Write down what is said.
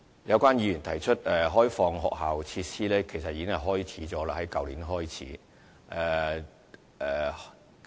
有關議員提出開放學校設施，其實這已於去年開始實行。